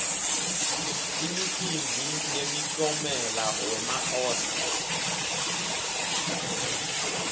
imikimbi yemikiomelo wema oscar